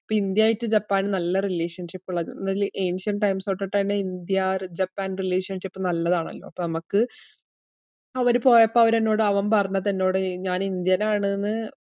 ഇപ്പ ഇന്ത്യയായിട്ട് ജപ്പാന് നല്ല relationship ഉള്ളത്, എന്നാല് ancient times തൊട്ടിട്ടെന്നെ ഇന്ത്യാ റി~ ജപ്പാൻ relationship നല്ലതാണല്ലോ. അപ്പോ നമ്മക്ക് അവര് പോയപ്പോ അവര് എന്നോട് അവൻ പറഞ്ഞതെന്നോട് ഞാൻ ഇന്ത്യൻ ആണ്ന്ന്